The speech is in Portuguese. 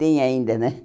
Tem ainda, né?